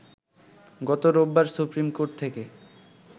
গত রোববার supreme court থেকে